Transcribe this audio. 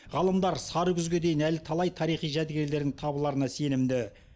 ғалымдар сары күзге дейін әлі талай тарихи жәдігерлердің табыларына сенімді